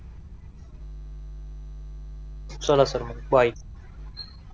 चला सर मग बाय